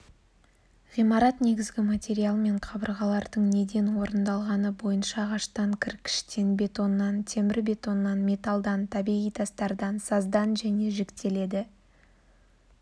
ғимарат негізгі материалмен қабырғалардың неден орындалғаны бойынша ағаштан кіркіштен бетоннан темірбетоннан металдан табиғи тастардан саздан және жіктеледі